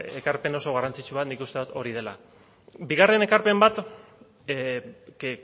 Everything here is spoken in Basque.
elkarpen oso garrantzitsu bat nik uste dut hori dela bigarren ekarpen bat que